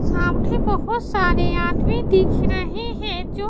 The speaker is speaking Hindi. सामने बहोत सारे आदमी दिख रहे हैं जो --